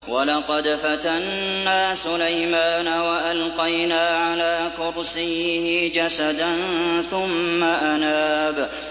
وَلَقَدْ فَتَنَّا سُلَيْمَانَ وَأَلْقَيْنَا عَلَىٰ كُرْسِيِّهِ جَسَدًا ثُمَّ أَنَابَ